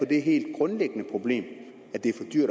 det helt grundlæggende problem